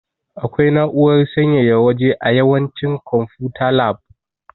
Akwai na'urar sanyaya waje a yawancin konfuta lab.